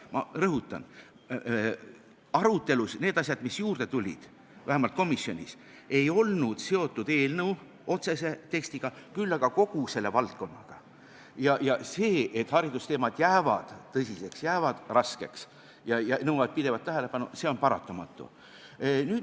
Ma rõhutan, et need asjad, mis juurde tulid, vähemalt komisjonis, ei olnud seotud eelnõu otsese tekstiga, küll aga kogu selle valdkonnaga, ja see, et haridusteemad jäävad tõsiseks, jäävad raskeks ja nõuavad pidevat tähelepanu, on paratamatu.